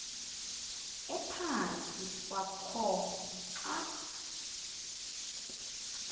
ephantsi kwakho xa